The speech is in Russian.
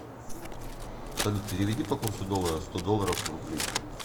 салют переведи по курсу доллара сто долларов в рубли